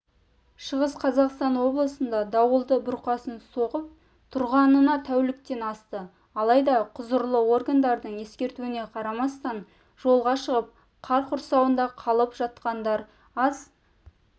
шығыс қазақстан облысында дауылды бұрқасын соғып тұрғанына тәуліктен асты алайда құзырлы органдардың ескертуіне қарамастан жолға шығып қар құрсауында қалып жатқандар аз